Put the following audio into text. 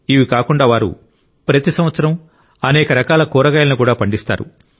ఇవి కాకుండా వారు ప్రతి సంవత్సరం అనేక రకాల కూరగాయలను కూడా పండిస్తారు